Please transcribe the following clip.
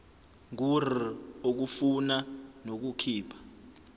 ngur ukufuna nokukhipha